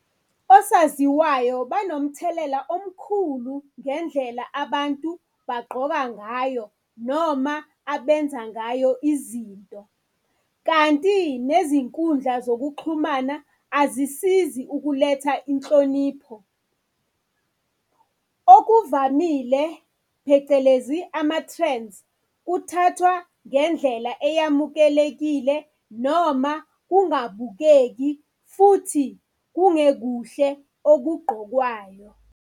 Osaziwayo banomthelela omkhulu ngendlela abantu bagqoka ngayo noma abenza ngayo izinto, kanti nezinkundla zokuxhumana azisizi ukuletha inhlonipho. Okuvamile, phecelezi ama-trends, kuthathwa ngendlela eyamukelekile noma kungabukeki futhi kungekuhle okugqokwayo.